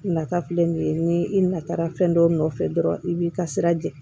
Nata filɛ nin ye ni i natara fɛn dɔw nɔfɛ dɔrɔn i b'i ka sira jɛ